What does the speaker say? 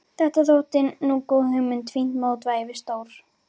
Þetta þótti nú góð hugmynd, fínt mótvægi við stór